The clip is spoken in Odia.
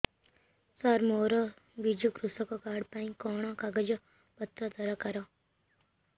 ସାର ମୋର ବିଜୁ କୃଷକ କାର୍ଡ ପାଇଁ କଣ କାଗଜ ପତ୍ର ଦରକାର